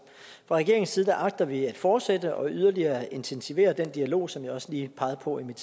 fra regeringens side agter vi at fortsætte og yderligere intensivere den dialog som jeg også lige pegede på i mit